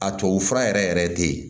A tubabu fura yɛrɛ yɛrɛ te yen